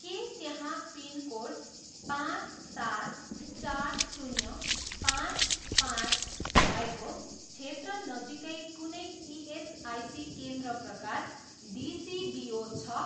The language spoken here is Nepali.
के त्यहाँ पिनकोड पाँच सात चार शून्य पाँच पाँच भएको क्षेत्र नजिकै कुनै इएसआइसी केन्द्र प्रकार डिसिबिओ छ?